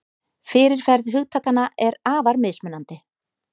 Fyrirferð hugtakanna er afar mismunandi.